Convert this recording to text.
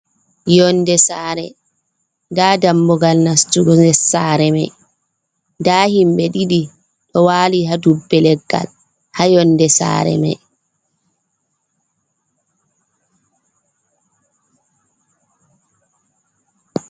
Yonnde saare, nda dammugal nastugo saare maiy, nda himɓe ɗiɗi ɗo waali haa dubbe leggal, haa yonnde saare may.